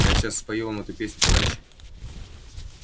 я сейчас спою вам эту песню товарищи